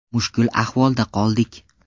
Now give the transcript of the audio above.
Mushkul ahvolda qoldik.